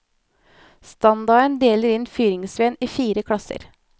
Standarden deler inn fyringsveden i fire klasser.